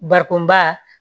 Bakonba